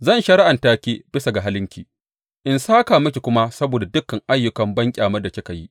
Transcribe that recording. Zan shari’anta ki bisa ga halinki in sāka miki kuma saboda dukan ayyukan banƙyamar da kika yi.